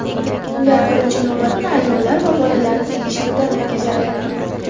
Ular birinchi navbatda ayollar va bolalarni tekshiruvdan o‘tkazadi.